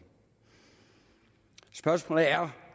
spørgsmålet er